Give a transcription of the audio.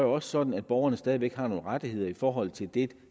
også sådan at borgerne stadig væk har nogle rettigheder i forhold til det